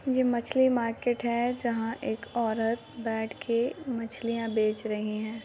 ये मछली मार्केट है जहाँ एक औरत बैठ के मछलियाँ बेच रही है।